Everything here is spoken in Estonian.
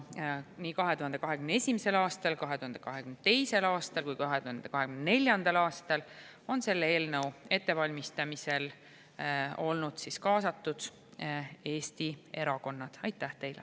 Nii 2021. aastal, 2022. aastal kui ka 2024. aastal on selle eelnõu ettevalmistamisse Eesti erakonnad olnud kaasatud.